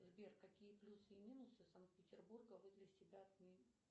сбер какие плюсы и минусы санкт петербурга вы для себя